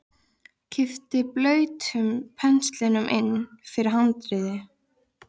Kippti blautum penslinum inn fyrir handriðið.